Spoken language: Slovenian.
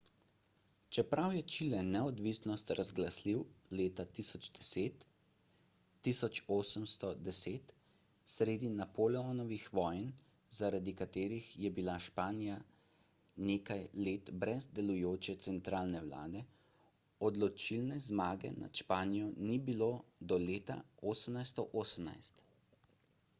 čeprav je čile neodvisnost razglasil leta 1810 sredi napoleonovih vojn zaradi katerih je bila španija nekaj let brez delujoče centralne vlade odločilne zmage nad španijo ni bilo do leta 1818